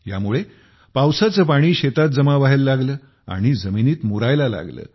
यामुळे पावसाचे पाणी शेतात जमा व्हायला लागले आणि जमिनीत मुरायला लागले